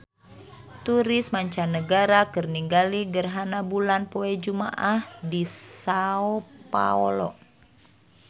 Turis mancanagara keur ningali gerhana bulan poe Jumaah di Sao Paolo